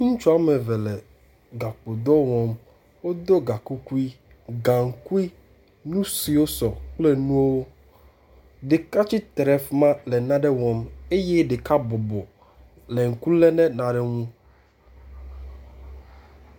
Ŋutsu wome eve le gakpodɔ wɔm. Wodo ga kukui, gaŋkui, nu siwo sɔ kple nuwo. Ɖeka tsitre ɖe fi ma le nane wɔm eye ɖeka bɔbɔ le ŋku lém ɖe nane ŋu.